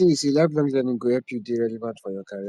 di tin be sey lifelong learning go help you dey relevant for your career